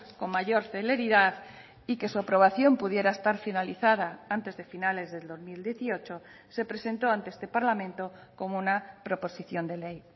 con mayor celeridad y que su aprobación pudiera estar finalizada antes de finales del dos mil dieciocho se presentó ante este parlamento como una proposición de ley